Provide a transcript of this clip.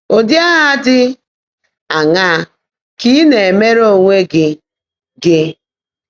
Ụ́dị́ Áhá Ḍị́ Áṅaá Kà Ị́ Ná-èméèré Óńwé Gị́? Gị́?